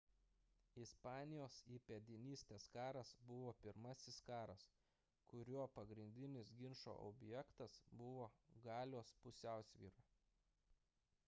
ispanijos įpėdinystės karas buvo pirmasis karas kurio pagrindinis ginčo objektas buvo galios pusiausvyra